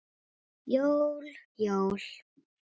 Jól, jól.